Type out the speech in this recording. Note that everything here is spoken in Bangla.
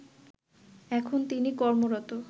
এখন তিনি কর্মরত